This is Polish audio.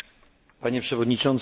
Panie Przewodniczący!